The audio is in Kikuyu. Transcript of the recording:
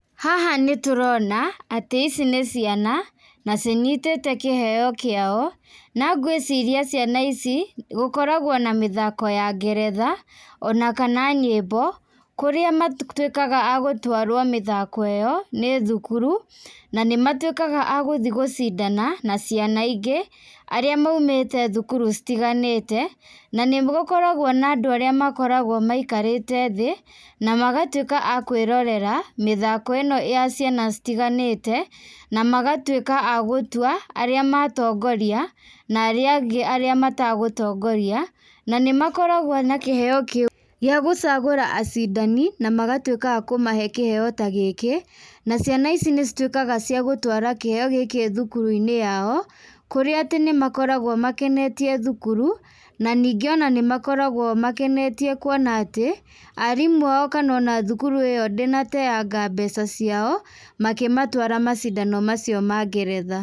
Haha nĩtũroana atĩ ici nĩ ciana, na cinyitĩte kĩheo kĩao, na ngwĩciria ciana ici, gũkoragwo na mĩthoko ya ngeretha, ona kana nyĩmbo, kũrĩa matuĩkaga a gũtwarwo mĩthako ĩyo nĩ thukuru, na nĩmatuĩkaga a gũthiĩ gũcindana na ciana ingĩ, arĩa maumĩte thukuru citiganĩte, na nĩgũkoragwo na and arĩa makoragwo maikarĩte thiĩ, namagatuĩka akwĩrorera, mĩthako ĩno ya ciana citiganĩte, namagatuĩka a gũtua, arĩa matongoria, na arĩa angĩ arĩa matagũtongoria, na nĩmakoragwo na kĩheo kĩũ gĩa gũcagũra acindani, namagatuĩka a kũmahe kĩheo ta gĩkĩ, na ciana ici nĩcituĩkaga cia gũtwara kĩheo gĩkĩ thukuruinĩ yao, kũrĩa atĩ nĩmakoragwo makenetie thukuru, na ningĩ ona nĩmakoragwo makenetie kuona atĩ, arimũ ao, kana ona thukuru ĩyo ndĩnateanga mbeca ciao, makĩmatwara macindano macio ma ngeretha.